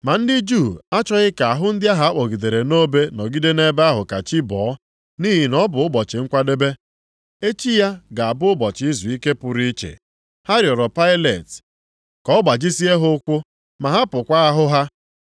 Ma ndị Juu achọghị ka ahụ ndị ahụ a kpọgidere nʼobe nọgide nʼebe ahụ ka chi bọọ, nʼihi na ọ bụ Ụbọchị Nkwadebe. Echi ya bụ ga-abụ ụbọchị izuike pụrụ iche. Ha rịọọrọ Pailet ka a gbajisie ha ụkwụ ma bupụkwa ahụ ha.